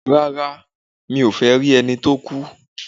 Rá́rá, mi ò fẹ́ rí ẹni tó kú.